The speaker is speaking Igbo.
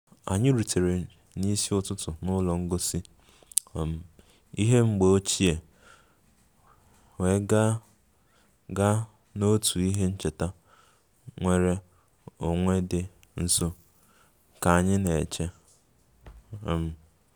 Anyị rutere n'isi ụtụtụ n'ụlọ ngosi um ihe mgbe ochie wee gaa gaa n'otu ihe ncheta nnwere onwe dị nso ka anyị na-eche um